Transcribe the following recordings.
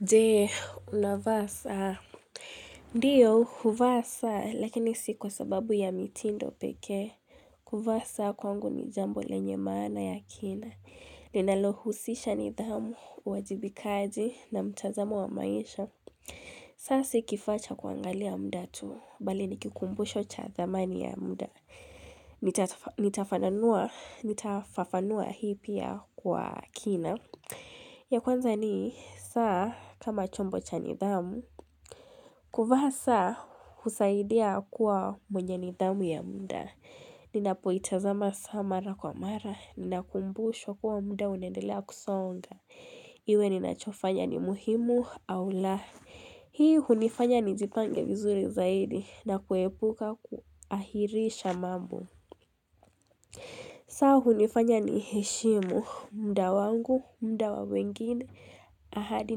Je unavaa saa ndiyo huvaa saa lakini si kwa sababu ya mitindo pekee kuvaa saa kwangu ni jambo lenye maana ya kina ninalohusisha nidhamu uwajibikaji na mtazamu wa maisha saa si kifaa cha kuangalia muda tu bali nikikumbusho cha dhamani ya muda nitafafanua hii pia kwa kina ya kwanza ni saa kama chombo cha nidhamu kuvaa saa husaidia kuwa mwenye nidhamu ya munda ninapoitazama saa mara kwa mara ninakumbushwa kuwa muda unaendelea kusonga iwe ninachofanya ni muhimu au la hii hunifanya nijipange vizuri zaidi na kuepuka kuahirisha mambo saa hunifanya ni heshimu muda wangu muda wawengine ahadi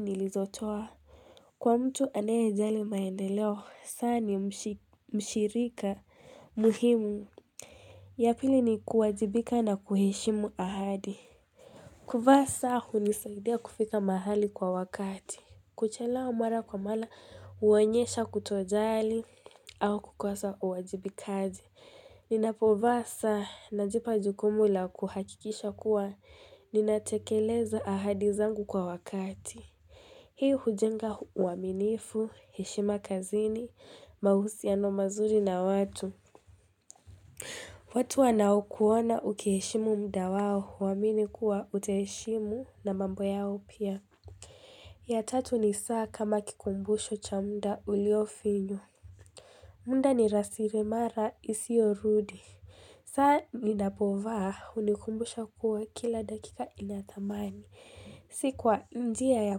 nilizotoa kwa mtu anayejali maendeleo saa ni mshirika muhimu ya pili ni kuwajibika na kuheshimu ahadi kuvaa saa hunisaidia kufika mahali kwa wakati kuchelewa mara kwa mara huonyesha kutojali au kukosa uwajibikaji ninapovaa saa najipa jukumu la kuhakikisha kuwa ninatekeleza ahadi zangu kwa wakati hii hujenga uaminifu heshima kazini mahusiano mazuri na watu watu wanakuona ukiheshimu muda wao huamini kuwa utaheshimu na mambo yao pia ya tatu ni saa kama kikumbusho cha muda ulio finyo muda ni rasirimara isio rudi saa ninapovaa unikumbusha kuwa kila dakika inathamani si kwa njia ya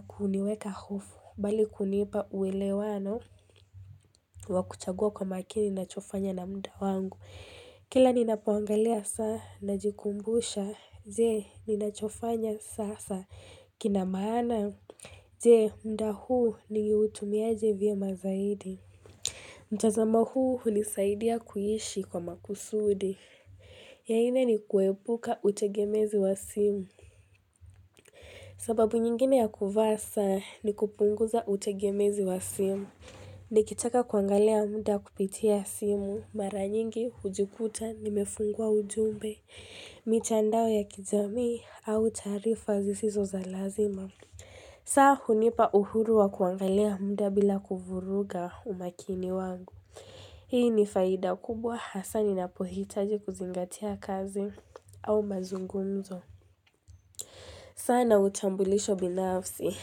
kuniweka hofu bali kunipa uwelewano wa kuchagua kwa makini nachofanya na muda wangu kila ninapoangalia saa najikumbusha Je ninachofanya sasa kina maana Je muda huu nimeutumiaje vyema zaidi mtazamo huu hunisaidia kuishi kwa makusudi ya nne ni kuepuka utegemezi wa simu sababu nyingine ya kuvaa saa ni kupunguza utegemezi wa simu nikitaka kuangalia muda kupitia simu mara nyingi hujikuta nimefungua ujumbe mitandao ya kijamii au taarifa zisizo za lazima saa hunipa uhuru wa kuangalia muda bila kuvuruga umakini wangu hii ni faida kubwa hasa ninapohitaji kuzingatia kazi au mazungumzo saa na utambulisho binafsi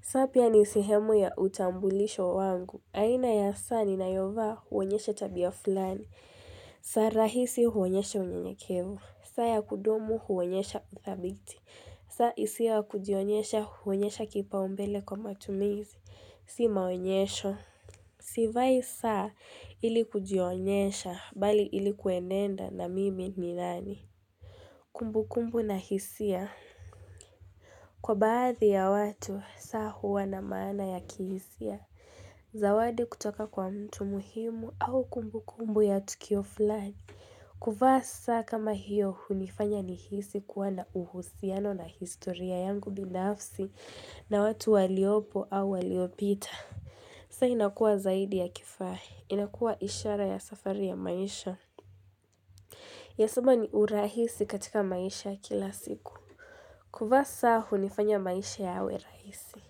saa pia ni sihemu ya utambulisho wangu aina ya saa ninayovaa huonyesha tabia fulani saa rahisi huonyesha unyanyakevu saa ya kudumu huonyesha uthabiti saa isiyo ya kujionyesha huonyesha kipaumbele kwa matumizi si maonyesho sivai saa ili kujionyesha bali ilikuenenda na mimi ni nani kumbukumbu na hisia Kwa baadhi ya watu saa huwa na maana ya kihisia zawadi kutoka kwa mtu muhimu au kumbukumbu ya tukio fulani kuvaa saa kama hiyo hunifanya ni hisi kuwa na uhusiano na historia yangu binafsi na watu waliopo au waliopita saa inakua zaidi ya kifaha inakua ishara ya safari ya maisha ya saba ni urahisi katika maisha kila siku. Kuvaa saa hunifanya maisha yawe rahisi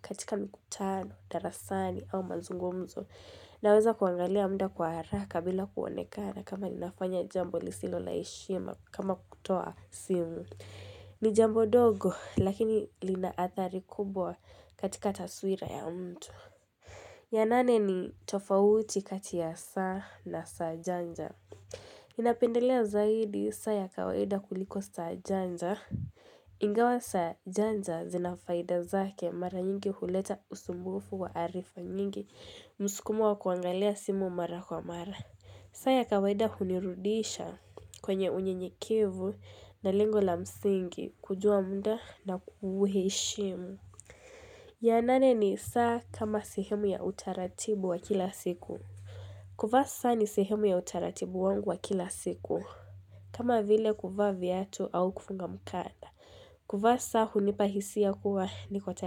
katika mikutano darasani au mazungumzo naweza kuangalia muda kwa haraka bila kuonekana kama ninafanya jambo lisilo la heshima kama kutoa simu ni jambo dogo lakini linaathari kubwa katika taswira ya mtu ya nane ni tofauti kati ya saa na saa janja ninapendelea zaidi saa ya kawaida kuliko saa janja ingawa saa janja zinafaida zake mara nyingi huleta usumbufu wa arifa nyingi mskumu wa kuangalia simu mara kwa mara saa ya kawaida hunirudisha kwenye unyenyekevu na lengo la msingi kujua muda na kuhuheshimu ya nane ni saa kama sehemu ya utaratibu wa kila siku kuvaa saa ni sehemu ya utaratibu wangu wa kila siku kama vile kuvaa viatu au kufunga mkanda kuvaa saa hunipahisia kuwa niko tayari.